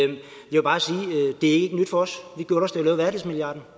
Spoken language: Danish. det ikke er nyt for os